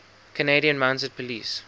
canadian mounted police